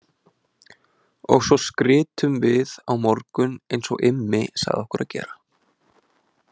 Og svo skrytum við á morgun eins og Immi sagði okkur að gera